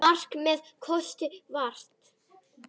Allt með kossi vakti.